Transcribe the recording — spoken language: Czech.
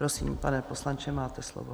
Prosím, pane poslanče, máte slovo.